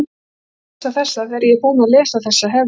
Þú skalt lesa þessa, þegar ég er búinn að lesa þessa hef ég